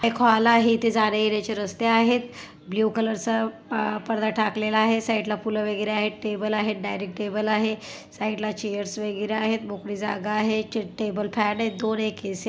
एक हॉल इथे जाण्या-येणाचे रस्ते आहेत ब्ल्यु कलर आ पर्दा ठाकलेल आहे साइडला फूल वैगेरे आहेत टेबल आहे डायनिंग टेबल आहे साइडला चेअर्स वैगेरे आहेत मोकळी जागा आहे चेट टेबल फॅन आहेत दोन एक ए.सी. --